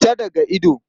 Fita daga ido!